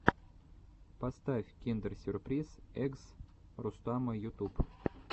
поставь киндер сюрприз эггс рустама ютуб